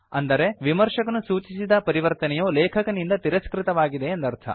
ಅಂದರೆ ವಿಮರ್ಶಕನು ಸೂಚಿಸಿದ ಪರಿವರ್ತನೆಯು ಲೇಖಕನಿಂದ ತಿರಸ್ಕೃತವಾಗಿದೆ ಎಂದರ್ಥ